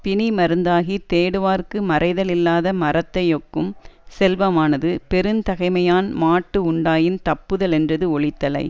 பிணிமருந்தாகித் தேடுவார்க்கு மறைதலில்லாத மரத்தை யொக்கும் செல்வமானது பெருந்தகைமையான்மாட்டு உண்டாயின் தப்புதலென்றது ஒளித்தலை